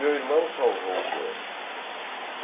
Meu irmão salvou o poema.